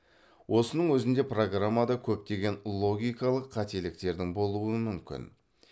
осының өзінде программада көптеген логикалық қателіктердің болуы мүмкін